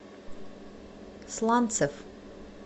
сланцев